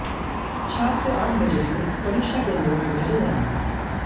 छात्र आठ बजे से परीक्षा केंद्रों में भेजे जाएंगे